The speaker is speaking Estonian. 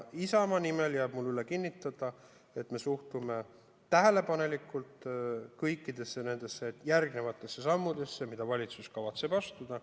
Isamaa nimel jääb mul üle kinnitada, et me suhtume tähelepanelikult kõikidesse järgnevatesse sammudesse, mida valitsus kavatseb astuda.